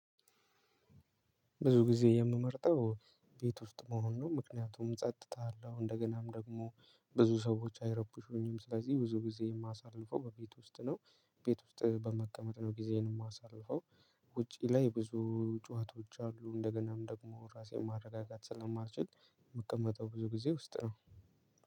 ብዙ ጊዜ የምመርጠው ቤት ውስጥ ሆኖ ነው ምክንያቱም ጸጥታ አለው እንደገናም ደግሞ ብዙ ሰዎች አይረብሹኝም ስለዚህ ብዙ ግዜ ማሳልፈው በቤት ውስጥ ነው። ቤት ውስጥ በመቀመጥ ነው ግዜዬን ማሳልፈው። ውጪ ላይ ብዙ ጩሀቶች አሉ። እንደገናም ደግሞ ራሴን ማረጋጋት ስለማልችል ምቀመጠው ብዙ ግዜ ቤት ውስጥ ነው።